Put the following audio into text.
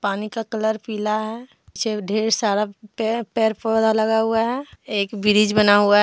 पानी का कलर पीला है चे ढेर सारा पेर पेड़-पौधा लगा हुआ है एक ब्रिज बना हुआ है।